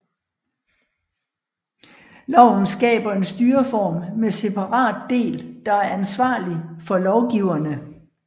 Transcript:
Loven skaber en styreform med separat del der er ansvarlig for lovgiverne